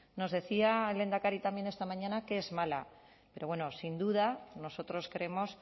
nos decía el lehendakari también esta mañana que es mala pero bueno sin duda nosotros creemos